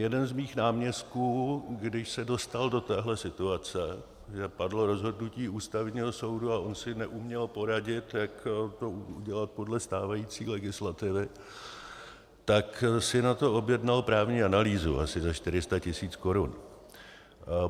Jeden z mých náměstků, když se dostal do téhle situace, že padlo rozhodnutí Ústavního soudu a on si neuměl poradit, jak to udělat podle stávající legislativy, tak si na to objednal právní analýzu asi za 400 tisíc korun.